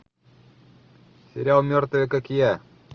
сериал мертвые как я